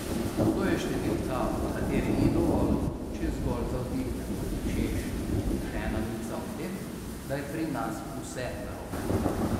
To je številka, ob kateri ni dovolj, če zgolj zavzdihnemo, češ, še ena novica o tem, da je pri nas vse narobe.